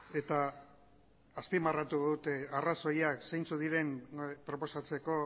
eta azpimarratu dut arrazoiak zeintzuk diren proposatzeko